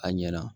A ɲɛna